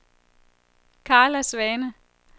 Karla Svane